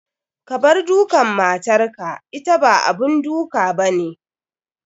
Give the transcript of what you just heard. Kabar dukan matar ka, ita ba abun duk abane.